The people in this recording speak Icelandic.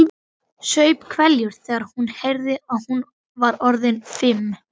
Saup hveljur þegar hún heyrði að hún var orðin fimm.